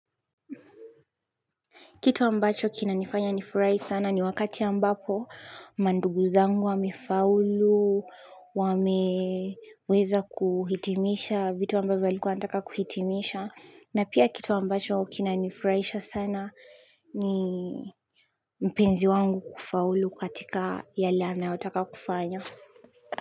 Kitu ambacho kinanifanya nifurai sana ni wakati ambapo mandugu zangu wamefaulu, wameweza kuhitimisha vitu ambavyo walikuwa wanataka kuhitimisha na pia kitu ambacho kinanifuraisha sana ni mpenzi wangu kufaulu katika yale anayotaka kufanya.